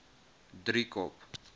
driekop